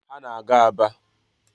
Ha na-aga Aba.